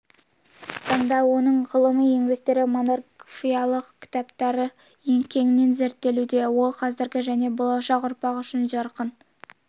таңда оның ғылыми еңбектері монографиялық кітаптары кеңінен зерттелуде ол қазіргі және болашақ ұрпақ үшін жарқын